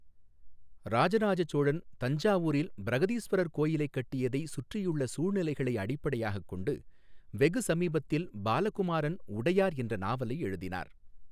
ராஜராஜ சோழன் தஞ்சாவூரில் பிரஹதீஸ்வரர் கோவிலைக் கட்டியதை சுற்றியுள்ள சூழ்நிலைகளை அடிப்படையாகக் கொண்டு வெகு சமீபத்தில் பாலகுமாரன் உடையார் என்ற நாவலை எழுதினார்.